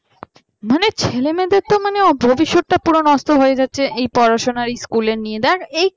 মানে ছেলেমেয়েদের তো মানে ভবিষ্যৎ টা পুরো নষ্ট হয়ে যাচ্ছে এই পড়াশোনা school নিয়ে দেখ এই